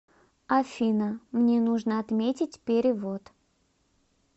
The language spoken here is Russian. афина мне нужно отметить перевод